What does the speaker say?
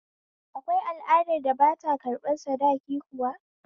Akwai al'adar da ba ta ƙarɓan sadaki kuwa?